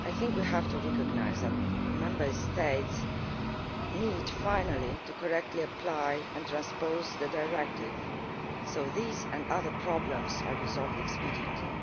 We have to recognise that Member States need finally to correctly apply and transpose the Directive so that these and other problems are resolved expediently.